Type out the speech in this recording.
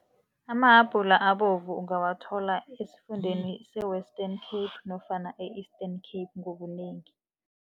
Amahabhula abovu ungawathola esifundeni se-Western Cape nofana e-Eastern Cape ngobunengi.